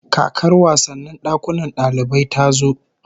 Kakar wasannin dakunan dalibai ta zo